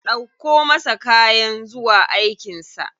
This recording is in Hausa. Ɗauko masa kayan zuwa aikin sa.